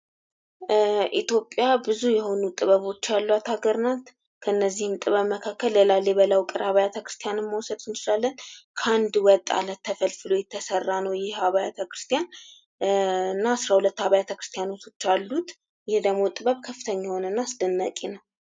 ኢትዮጵያ ብዙ የሆኑ ጥበቦች ያሏት ሃገር ናት። ከነዚህም ጥበብ መካከል የላሊበላ ዉቅር አብያተ ክርስትያንን መውሰድ እንችላለን። ከአንድ ወጥ አለት ተፈልፍሎ የተሰራ ነው ይህ አብያተ ክርስትያን እና አስራ ሁለት አብያተ ክርስትያኖች አሉት ይህ ደግሞ ጥበብ ከፍተኛ የሆነ እና አስደናቂ ነው።